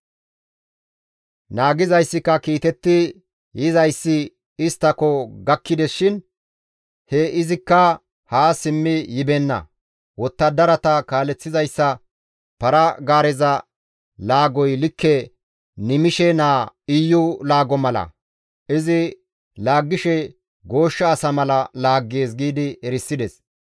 Naagizayssika «Kiitetti yizayssi isttako gakkides shin he izikka haa simmi yibeenna; wottadarata kaaleththizayssa para-gaareza laagoy likke Nimishe naa Iyu laago mala; izi laaggishe gooshsha asa mala laaggees» giidi erisides.